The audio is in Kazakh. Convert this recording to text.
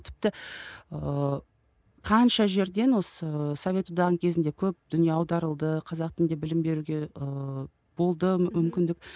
тіпті ыыы қанша жерден осы совет одағының кезінде көп дүние аударылды қазақ тілінде білім беруге ыыы болды мүмкіндік